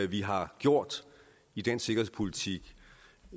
vi har gjort i dansk sikkerhedspolitik